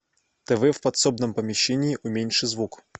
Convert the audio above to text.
тв в подсобном помещении уменьши звук